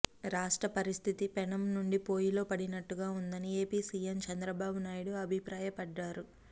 రాష్ట్ర పరిస్థితి పెనం నుండి పొయ్యిలో పడినట్టుగా ఉందని ఏపీ సీఎం చంద్రబాబునాయుడు అభిప్రాయపడ్డారు